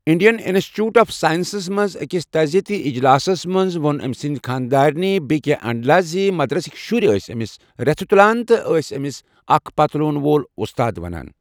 Indian institute of ساینَسس منٛز أکِس تعٲزِیَتی اِجلاسس منٛز ووٚن أمۍ سٕنٛزِ خانٛدارِنہِ، بی کے انٛڈلہِ زِ مدرَسٕکۍ شُرۍ ٲسۍ أمِس ریٚژھِ تُلان تہٕ ٲسِس اَکھ پٔتلوٗن وول اُستاد وَنان۔